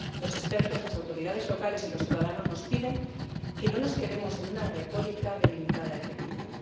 Los expertos, las autoridades locales y los ciudadanos nos piden que no nos quedemos en una retórica de limitada efectividad.